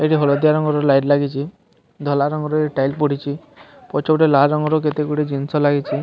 ଏଇଠି ହଳଦିଆ ରଙ୍ଗ ର ଲାଇଟ ଲାଗିଚି ଧଲା ରଙ୍ଗର ଏଇ ଟାଇଲ ପଡ଼ିଚି ପଛ ପଟେ ଲାଲ ରଙ୍ଗ ର କେତେ ଗୁଡ଼ିଏ ଜିନିଷ ଲାଗିଚି।